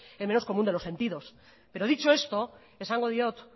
es el menos común de los sentidos pero dicho esto esango diot